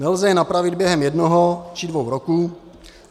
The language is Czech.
Nelze je napravit během jednoho či dvou roků.